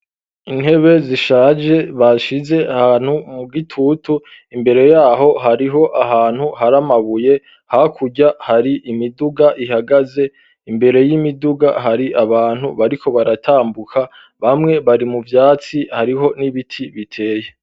Intebe zishaje bashize ahantu mu gitutu imbere yaho hariho ahantu hari amabuye hakurya hari imiduga ihagaze imbere y'imiduga hari abantu bariko baratambuka bamwe bari mu vyatsi hariho n'ibiti biteye